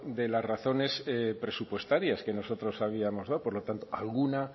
de las razones presupuestarias que nosotros habíamos dado por lo tanto alguna